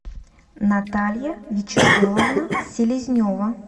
наталья вячеславовна селезнева